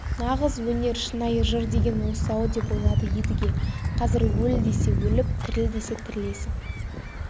нағыз өнер шынайы жыр деген осы-ау деп ойлады едіге қазір өл десе өліп тіріл десе тірілесің